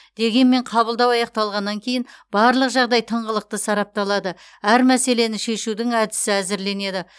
дегенмен қабылдау аяқталғаннан кейін барлық жағдай тыңғылықты сарапталады әр мәселені шешудің әдісі әзірленеді